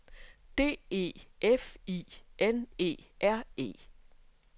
D E F I N E R E